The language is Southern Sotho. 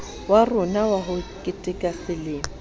rona wa ho keteka lemo